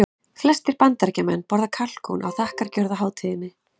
Flestir Bandaríkjamenn borða kalkún á þakkargjörðarhátíðinni.